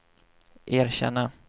erkänna